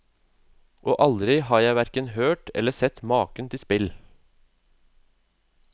Og aldri har jeg hverken hørt om eller sett maken til spill.